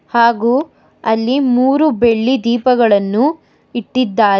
ಹಾಗೂ ಅಲ್ಲಿ ಮೂರು ಬೆಳ್ಳಿ ದೀಪಗಳನ್ನು ಇಟ್ಟಿದ್ದಾರೆ.